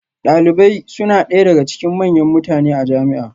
Dalibai suna ɗaya daga cikin manyan mutane a jami'a